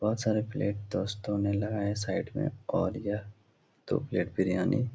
बोहोत सारे प्लेट दोस्तों ने लगाया साइड में और यह दो प्लेट बिरयानी --